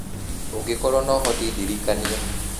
ũngĩkorũo no ũhote ndirikania,